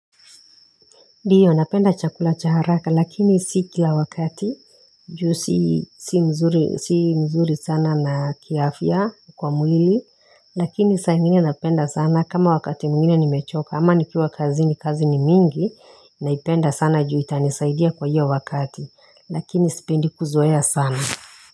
Ndiyo napenda chakula cha haraka lakini si kila wakati juu si mzuri sana na kiafia kwa mwili Lakini saaingine napenda sana kama wakati mwingine nimechoka ama nikiwa kazini kazi ni mingi Naipenda sana juu itanisaidia kwa hiyo wakati lakini sipendi kuzoea sana.